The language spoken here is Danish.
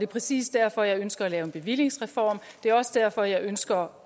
præcis derfor at jeg ønsker at lave en bevillingsreform det er også derfor at jeg ønsker